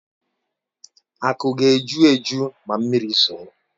Aku ga-eju eju ma mmiri zoo.